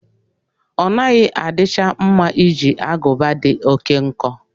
Ọnaghị adicha mma iji agụba dị oké nkọ.